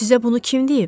Sizə bunu kim deyib?